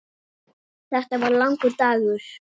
Þetta var langur dagur.